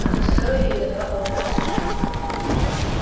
а мы строили её два года